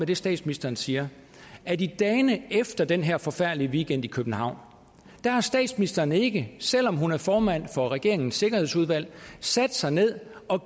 det statsministeren siger at i dagene efter den her forfærdelige weekend i københavn har statsministeren ikke selv om hun er formand for regeringens sikkerhedsudvalg sat sig ned og